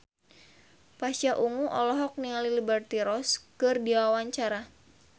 Pasha Ungu olohok ningali Liberty Ross keur diwawancara